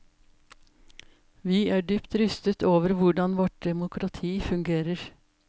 Vi er dypt rystet over hvordan vårt demokrati fungerer.